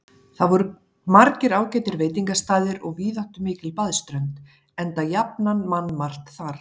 Þar voru margir ágætir veitingastaðir og víðáttumikil baðströnd, enda jafnan mannmargt þar.